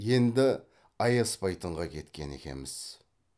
енді аяспайтынға кеткен екеміз